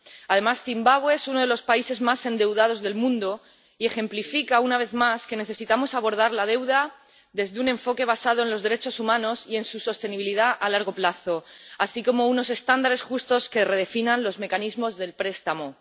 Además, Zimbabue es uno de los países más endeudados del mundo y ejemplifica, una vez más, que necesitamos abordar la deuda desde un enfoque basado en los derechos humanos y en su sostenibilidad a largo plazo, así como unos estándares justos que redefinan los mecanismos de préstamo.